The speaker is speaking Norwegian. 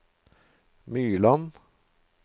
Myrland